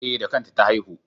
E, da kanta ta haihu.